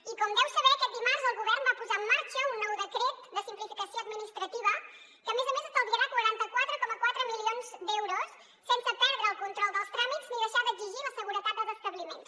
i com deu saber aquest dimarts el govern va posar en marxa un nou decret de simplificació administrativa que a més a més estalviarà quaranta quatre coma quatre milions d’euros sense perdre el control dels tràmits ni deixar d’exigir la seguretat dels establiments